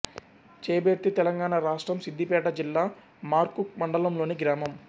చేబెర్తి తెలంగాణ రాష్ట్రం సిద్ధిపేట జిల్లా మర్కూక్ మండలంలోని గ్రామం